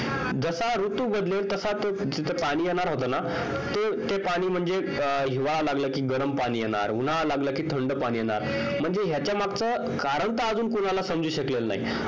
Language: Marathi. जसा ऋतू बदलेल तसा तो तिथं पाणी येणार होत ना ते पाणी म्हणजे हिवाळा लागलं कि गरम पाणी येणार उन्हाळा लागला कि थंड पाणी येणार म्हणजे ह्याच्या मगच कारण तर कोणाला समजू शकतेल नाही